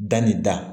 Da ni da